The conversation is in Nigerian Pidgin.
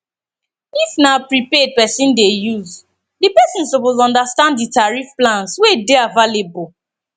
if na prepaid person dey use di person suppose understand di tarrif plans wey dey available